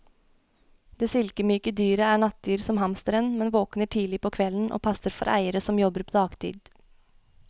Det silkemyke dyret er nattdyr som hamsteren, men våkner tidlig på kvelden og passer for eiere som jobber på dagtid.